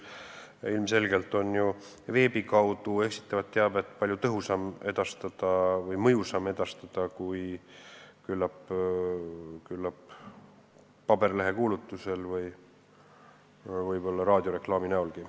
Ilmselgelt on ju veebis eksitavat teavet palju tõhusam või mõjusam edastada kui küllap paberlehe kuulutuse või võib-olla raadioreklaami abil.